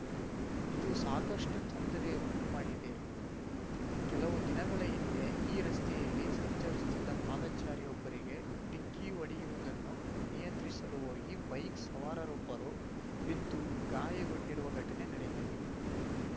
ಇದು ಸಾಕಷ್ಟುತೊಂದರೆ ಉಂಟು ಮಾಡಿದೆ ಕೆಲವು ದಿನಗಳ ಹಿಂದೆ ಈ ರಸ್ತೆಯಲ್ಲಿ ಸಂಚರಿಸುತ್ತಿದ್ದ ಪಾದಚಾರಿಯೊಬ್ಬರಿಗೆ ಡಿಕ್ಕಿ ಹೊಡೆಯುವುದನ್ನು ನಿಯಂತ್ರಿಸಲು ಹೋಗಿ ಬೈಕ್‌ ಸವಾರರೊಬ್ಬರು ಬಿದ್ದು ಗಾಯಗೊಂಡಿರುವ ಘಟನೆ ನಡೆದಿದೆ